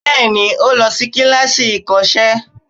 Bẹẹni, ó lọ sí kíláàsì ìkọ́sẹ́